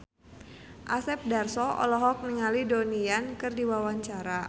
Asep Darso olohok ningali Donnie Yan keur diwawancara